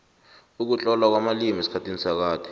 ukutlolwa kwamalimi esikhathini sakade